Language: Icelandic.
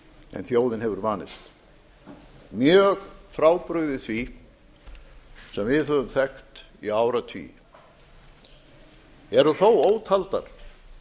en þjóðin hefur vanist mjög frábrugðið því sem við höfum þekkt í áratugi eru þó ótaldar